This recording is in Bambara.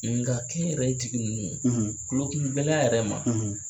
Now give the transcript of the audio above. Nka kɛnyɛrɛ jigi ninnu kulokun gɛlɛya yɛrɛ ma.